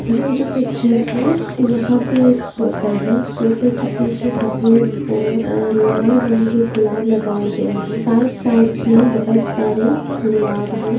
ये जो पिक्चर है यहाँ पे एक सोफ़ा है सोफ़े के पीछे सफेद और लाल रंग के गुलाब लगाए गए है साइड साइड्स मै बहुत सारे गुलाब है।